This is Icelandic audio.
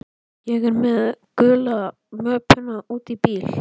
Ég er með gulu möppuna úti í bíl.